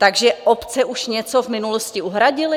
Takže obce už něco v minulosti uhradily?